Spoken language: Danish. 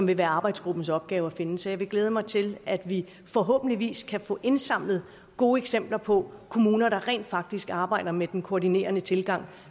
vil være arbejdsgruppens opgave at finde så jeg vil glæde mig til at vi forhåbentlig kan få indsamlet gode eksempler på kommuner der rent faktisk arbejder med den koordinerende tilgang